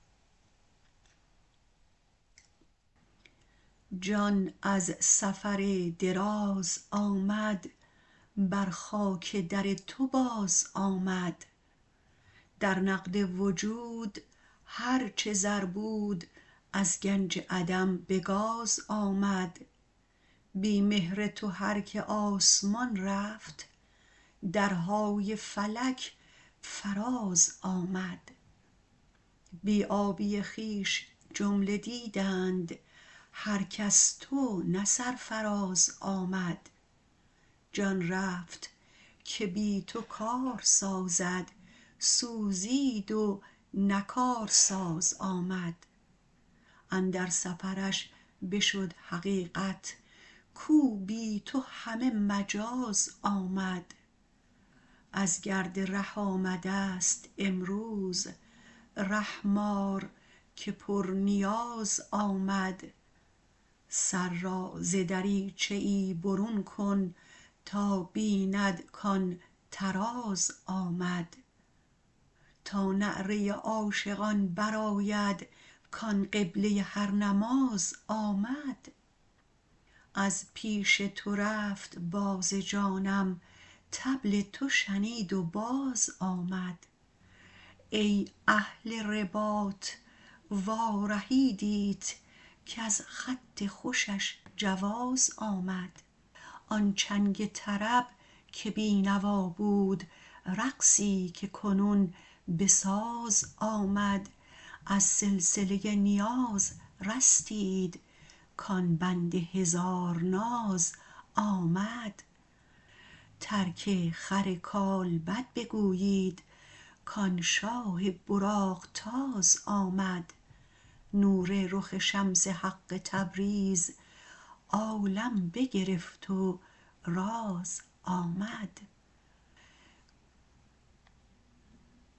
جان از سفر دراز آمد بر خاک در تو بازآمد در نقد وجود هر چه زر بود از گنج عدم به گاز آمد بی مهر تو هر که آسمان رفت درهای فلک فرازآمد بی آبی خویش جمله دیدند هرک از تو نه سرفراز آمد جان رفت که بی تو کار سازد سوزید و نه کارساز آمد اندر سفرش بشد حقیقت کو بی تو همه مجاز آمد از گرد ره آمدست امروز رحم آر که پرنیاز آمد سر را ز دریچه ای برون کن تا بیند کان طراز آمد تا نعره عاشقان برآید کان قبله هر نماز آمد از پیش تو رفت باز جانم طبل تو شنید و بازآمد ای اهل رباط وارهیدیت کز خط خوشش جواز آمد آن چنگ طرب که بی نوا بود رقصی که کنون به ساز آمد از سلسله نیاز رستید کان بند هزار ناز آمد ترک خر کالبد بگویید کان شاه براق تاز آمد نور رخ شمس حق تبریز عالم بگرفت و راز آمد